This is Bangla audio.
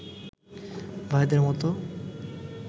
ভাইদের মতো